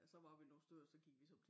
Så var vi nogen stykker så gik vi så op til